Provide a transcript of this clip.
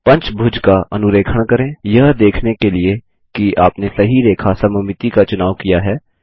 पंचभुज का अनुरेखण करें यह देखने के लिए कि आपने सही रेखा सममिति का चुनाव किया है